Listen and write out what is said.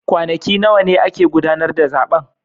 Kwanaki nawa ne ake gudanar da zaben